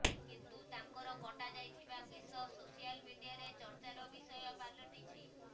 କିନ୍ତୁ ତାଙ୍କର କଟାଯାଇଥିବା କେଶ ସୋସିଆଲ ମିଡିଆରେ ଚର୍ଚ୍ଚାର ବିଷୟ ପାଲଟିଛି